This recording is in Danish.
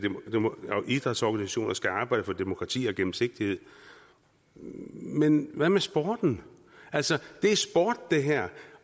idrætsorganisationer skal arbejde for demokrati og gennemsigtighed men hvad med sporten altså det her